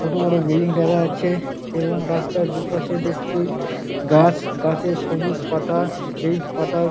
ছোটো বড়ো বিল্ডিং দেখা যাচ্ছে এবং রাস্তার দু পাশে দেখছি গাছ গাছের সবুজ পাতা সেই পাতার--